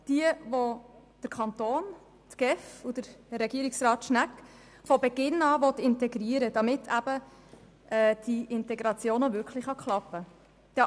Es sind jene, welche der Kanton, die GEF und Regierungsrat Schnegg von Beginn an integrieren wollen, damit die Integration wirklich gelingen kann.